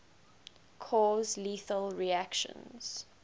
cause lethal reactions